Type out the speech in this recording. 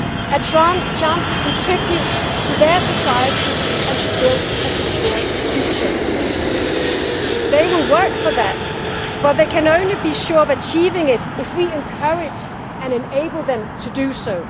A chance to contribute to their societies and to build a secure future. They will work for that but they can only be sure of achieving it if we encourage and enable them to do so.